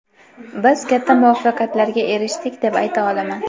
Biz katta muvaffaqiyatlarga erishdik deb ayta olaman.